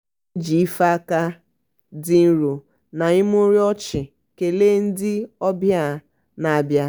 o ji ife aka dị nro na imurimu ọchị kelee ndị obịa na-abịa.